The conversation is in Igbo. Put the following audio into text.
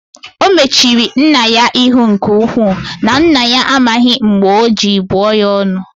O mechiri nna ya ihu nke-uku, na nna ya amaghi mb͕e ọ ji buo ya onu.